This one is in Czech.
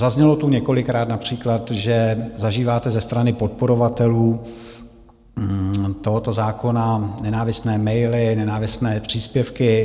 Zaznělo tu několikrát například, že zažíváte ze strany podporovatelů tohoto zákona nenávistné maily, nenávistné příspěvky.